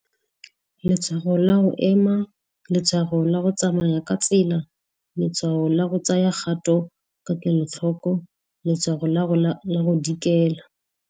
Letshwago la go ema, letshwago la go tsamaya ka tsela, letshwa'o la go tsaya kgato ka kelotlhoko, letshwago la go dikela.